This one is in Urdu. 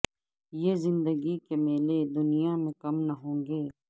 یہ زندگی کے میلے دنیا میں کم نہ ہوں گے